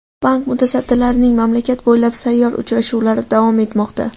Bank mutasaddilarining mamlakat bo‘ylab sayyor uchrashuvlari davom etmoqda.